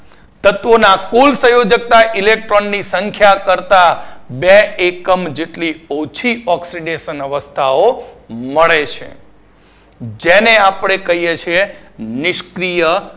તત્વોના કુલ સંયોજકતા electron ની સંખ્યા કરતાં બે એકમ જેટલી ઓછી oxidation અવસ્થાઓ મળે છે જેને આપડે કઈએ છીએ નિષ્ક્રિય